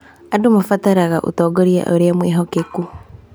Andũ marabatara ũtongoria ũrĩ mwĩhokeku.